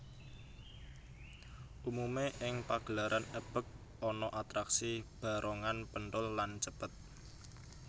Umumé ing pagelaran ebeg ana atraksi barongan penthul lan cepet